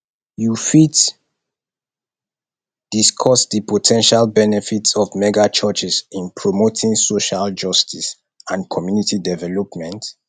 you fit discuss di po ten tial benefits of megachurches in promoting social justice and community development